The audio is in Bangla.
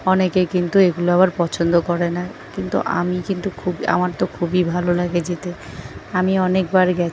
অনেকে কিন্তু এগুলো আবার পছন্দ করে না কিন্তু আমি কিন্তু খুব আমার তো খুবই ভালো লাগে যেতে আমি অনেকবার গে--